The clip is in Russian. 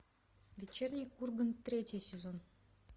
вечерний ургант третий сезон